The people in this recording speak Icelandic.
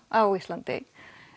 á Íslandi